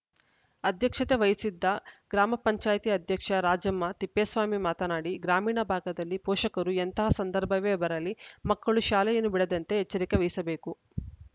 ಅಧ್ಯಕ್ಷತೆ ವಹಿಸಿದ್ದ ಗ್ರಾಮ ಪಂಚಾಯತ್ ಅಧ್ಯಕ್ಷ ರಾಜಮ್ಮ ತಿಪ್ಪೇಸ್ವಾಮಿ ಮಾತನಾಡಿಗ್ರಾಮೀಣ ಭಾಗದಲ್ಲಿ ಪೋಷಕರು ಎಂತಹ ಸಂದರ್ಭವೇ ಬರಲಿ ಮಕ್ಕಳು ಶಾಲೆಯನ್ನು ಬಿಡದಂತೆ ಎಚ್ಚರಿಕೆ ವಹಿಸಬೇಕು